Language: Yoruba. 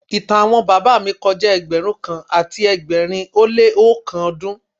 Ìtàn àwọn bàbá mi kọjá ẹgbẹ̀rún kan àti ẹgbẹ̀rin ó lé oókan ọdún.